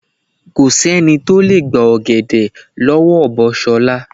Ko sé̩ni tó lè gba ò̩gè̩dè̩ ló̩wó̩ ọ̀bọ S̩o̩la.